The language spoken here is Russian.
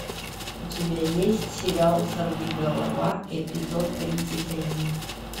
у тебя есть сериал сорвиголова эпизод тридцать один